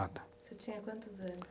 Você tinha quantos anos?